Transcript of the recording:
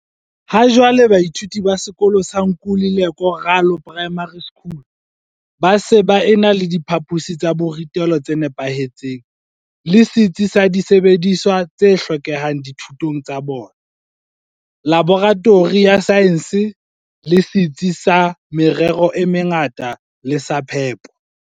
Ha jwale baithuti ba sekolo sa Nkululeko Ralo Primary School ba se ba ena le diphaposi tsa borutelo tse nepahetseng le setsi sa disebediswa t se hlokehang dithutong tsa bona, laboratori ya saense, le setsi sa merero e mengata le sa phepo.